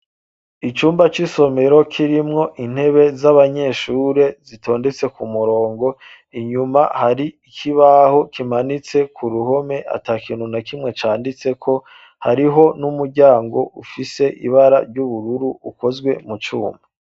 Icumba c' isomero kirimwo intebe z' abanyeshure zitondetse ku murongo, inyuma hari ikibaho kimanitse ku ruhome atakintu na kimwe canditseko, hariho n' umuryango ufise ibara ry' ubururu ikozwe mu cuma.